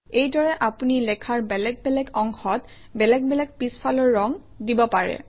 এইদৰে আপুনি লেখাৰ বেলেগে বেলেগ অংশত বেলেগ বেলেগ পিছফালৰ ৰং দিব পাৰে